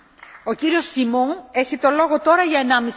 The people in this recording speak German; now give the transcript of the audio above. Frau Präsidentin, Herr Kommissar, liebe Kolleginnen und Kollegen!